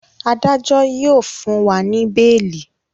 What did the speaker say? Adájo yíò fún wá ní beeli.